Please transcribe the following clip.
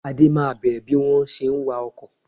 Ade máa bẹ̀rẹ̀ bí wọ́n ṣe ń wá ọkọ